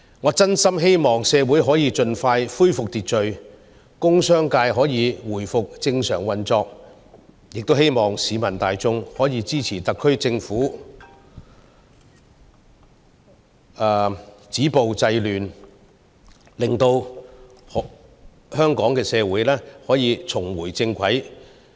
我真心希望社會可以盡快恢復秩序，工商界可以回復正常運作，亦希望市民大眾可以支持特區政府止暴制亂，讓香港社會得以重回正軌。